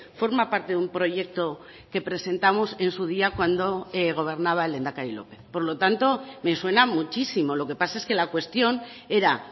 forma parte de un proyecto que presentamos en su día cuando gobernaba el lehendakari lópez por lo tanto me suena muchísimo lo que pasa es que la cuestión era